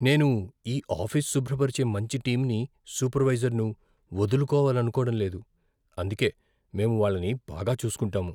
నేను ఈ ఆఫీస్ శుభ్రపరిచే మంచి టీంని, సూపర్వైజర్ను వదులుకోవాలనుకోవడం లేదు. అందుకే, మేము వాళ్ళని బాగా చూసుకుంటాము.